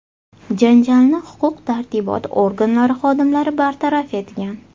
Janjalni huquq tartibot organlari xodimlari bartaraf etgan.